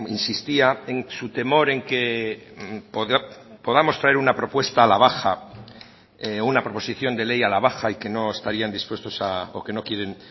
insistía en su temor en que podamos traer una propuesta a la baja una proposición de ley a la baja y que no estarían dispuestos o que no quieren